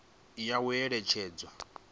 ya u eletshedza ndi zwa